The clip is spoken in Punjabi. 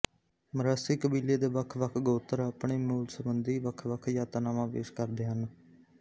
ਮਰਾਸੀ ਕਬੀਲੇ ਦੇ ਵੱਖਵੱਖ ਗੋਤਰ ਆਪਣੇ ਮੂਲ ਸੰਬੰਧੀ ਵੱਖਵੱਖ ਧਾਰਨਾਵਾਂ ਪੇਸ਼ ਕਰਦੇ ਹਨ